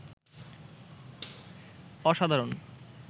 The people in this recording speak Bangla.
অসাধারণ